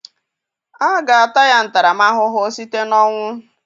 A ga-ata ya ntaramahụhụ site na ọnwụ